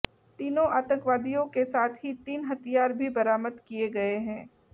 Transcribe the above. तीनों आतंकवादियों के साथ ही तीन हथियार भी बरामद किए गए हैं